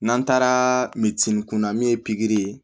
N'an taara min kun na min ye pikiri ye